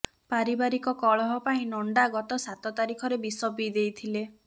ପାରିବାରିକ କଳହ ପାଇଁ ନଣ୍ଡା ଗତ ସାତ ତାରିଖରେ ବିଷ ପିଇଦେଇଥିଲେ